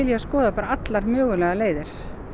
að skoða allar mögulegar leiðir